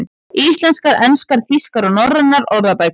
Íslenskar, enskar, þýskar og norrænar orðabækur.